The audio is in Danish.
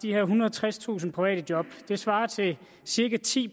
ethundrede og tredstusind private job det svarer til cirka ti